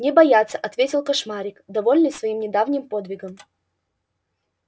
не бояться ответил кошмарик довольный своим недавним подвигом